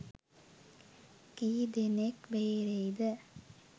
කීදෙනෙක් බේරෙයිද